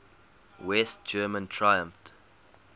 west germans triumphed